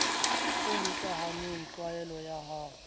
e hokahaneng tlwaelo ya ho